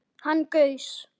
Hann gaus